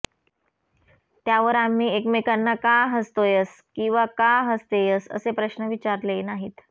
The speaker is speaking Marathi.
त्यावर आम्ही एकमेकांना का हसतोयस किंवा का हसतेयस असे प्रश्न विचारले नाहीत